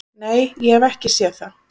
"""Nei, ég hef ekki séð það."""